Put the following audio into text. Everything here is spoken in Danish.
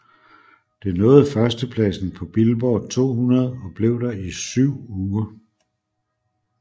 Det nåede førstepladsen på Billboard 200 og blev der i syv uger